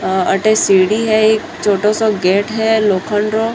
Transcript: अठे सीढी है एक छोटो सो गेट है लोखंड रो।